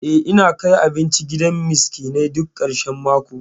Eh, ina kai abinci gidan miskinai duk ƙarshan mako.